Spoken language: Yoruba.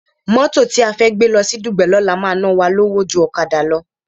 Mótò tí a fẹ́ gbé lọ sí Dùgbẹ̀ lọ́la máa ná wa lówó ju ọ̀kadà lọ